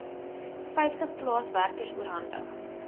vyftig plaaswerkers oorhandig